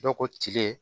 Dɔw ko tile